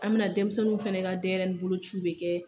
An bɛna denmisɛnninw fana ka denɲsɛrɛnin bolo ciw de kɛ.